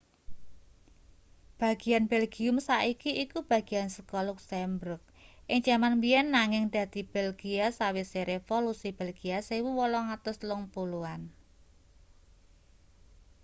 bagian belgium saiki iku bagian saka luksemburg ing jaman biyen nanging dadi belgia sawise revolusi belgia 1830-an